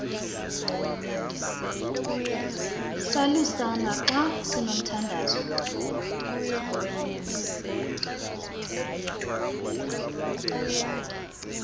salusana xa sinomthandazo